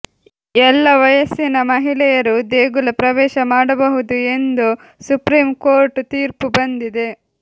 ಎಲ್ಲ ವಯಸ್ಸಿನ ಮಹಿಳೆಯರು ದೇಗುಲ ಪ್ರವೇಶ ಮಾಡಬಹುದು ಎಂದು ಸುಪ್ರೀಂ ಕೋರ್ಟ್ ತೀರ್ಪು ಬಂದಿದೆ